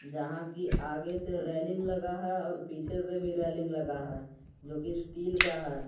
जहां की आगे से रेलिंग लगा है पीछे से भी रेलिंग लगा है जो कि स्टील का है।